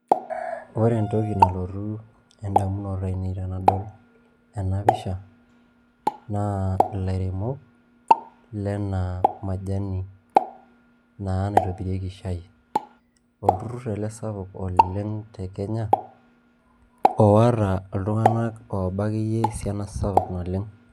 Oore entoki nalotu un'damunot ainei tenadol eena pisha, naa ilairemok lena majani, naa naitobiriki shaai. Olturur eele sapuk oleng te Kenya, oota iltung'anak ooba akeyie esiana sapuk naleng.